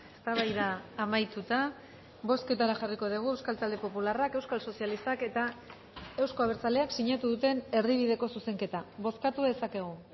eztabaida amaituta bozketara jarriko dugu euskal talde popularrak euskal sozialistak eta euzko abertzaleak sinatu duten erdibideko zuzenketa bozkatu dezakegu